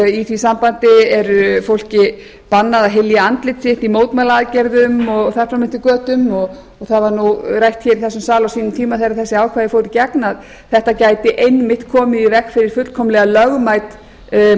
í því sambandi er fólki bannað að hylja andlit sitt í mótmælaaðgerðum og þar fram eftir götunum það var rætt hér í þessum sal á þeim tíma þegar þessi ákvæði fóru í gegn að þetta gæti einmitt komið í veg fyrir fullkomlega lögmæt